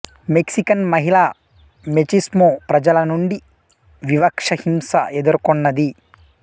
Mexican మహిళ machismo ప్రజల నుండి వివక్ష హింస ఎదుర్కొన్నది